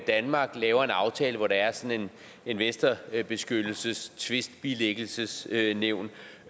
danmark laver en aftale hvor der er et sådant investorbeskyttelses tvistbilæggelsesnævn